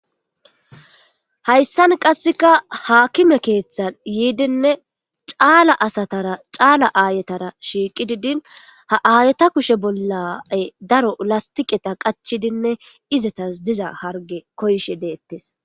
Haysan qaseka haakime keethan yiidinne caala asatara caala aayetara shiiqidi diin ayeta kushe bolla daro lastiqeta qachidinne izetas diza charge koyishe deetes.